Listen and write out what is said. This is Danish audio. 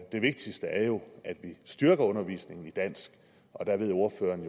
det vigtigste er jo at vi styrker undervisningen i dansk og der ved ordføreren